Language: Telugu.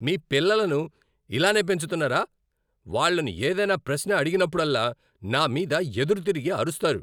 మీ పిల్లలను ఇలానే పెంచుతున్నారా? వాళ్ళను ఏదైనా ప్రశ్న అడిగినప్పుడల్లా నా మీద ఎదురు తిరిగి అరుస్తారు.